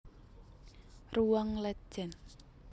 Ruang Letjen